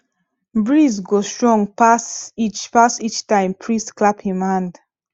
breeze go strong pass each pass each time priest clap him hand